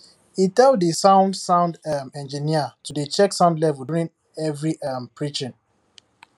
he tell the sound sound um engineer to dey check sound level during every um preaching